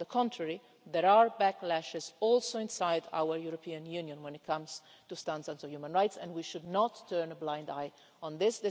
On the contrary, there are backlashes, also inside our European Union, when it comes to standards of human rights and we should not turn a blind eye to this.